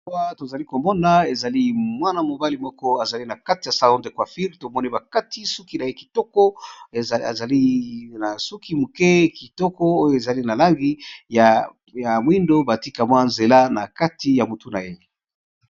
Awa to zali ko mona ezali mwana-mobali moko azali na kati ya salon de quaffir. Tomoni ba kati suki na ye kitoko. Azali na suki moke kitoko. Oyo ezali na langi ya moindo ba tie mwa nzela na kati ya motu na ye.